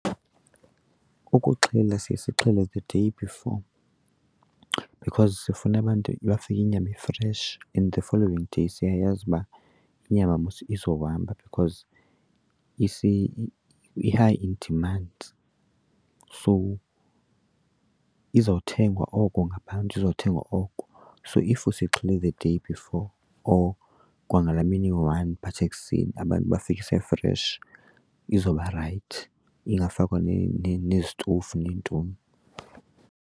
Ukuxhela siye sixhele the day before because sifuna abantu bafike inyama i-fresh, and the following day siyayazi uba inyama mos izohamba because i-high in demand so izawuthengwa oko ngabantu, izothengwa oko. So if siyixhele the day before or kwangalaa mini iyi-one but ekuseni abantu bafike ise-fresh izoba rayithi ingafakwa nezitofu neentoni.